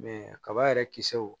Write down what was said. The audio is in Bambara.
kaba yɛrɛ kisɛw